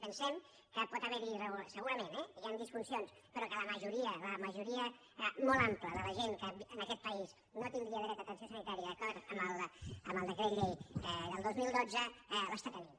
pensem que pot haver hi segurament eh disfuncions però que la majoria la majoria molt àmplia de la gent que en aquest país no tindria dret a atenció sanitària d’acord amb el decret llei del dos mil dotze l’està tenint